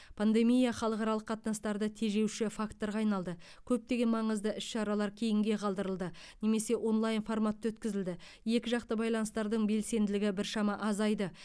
пандемия халықаралық қатынастарды тежеуші факторға айналды көптеген маңызды іс шаралар кейінге қалдырылды немесе онлайн форматта өткізілді екіжақты байланыстардың белсенділігі біршама азайды